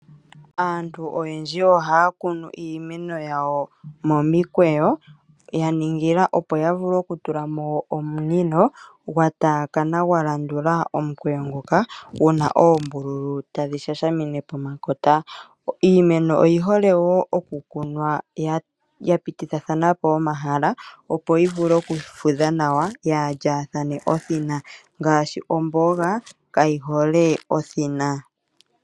Aantu oyendji ohaya kunu iimeno yawo momikweyo yaningila opo ya vule okutula mo omunino gwataakana gwalandula omukweyo ngoka gu na oombululu tadhi shashamine pomakota. Iimeno oyihole wo okukunwa yapitithathana po omahala opo yi vule okufudha nawa inaayi thinanekathana ngaashi omboga kayihole othina.